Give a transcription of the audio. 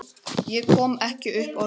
Ég kom ekki upp orði.